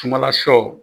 Sumala sɔ